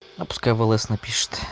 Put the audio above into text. а пускай в лс напишет